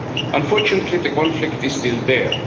Unfortunately the conflict is still there.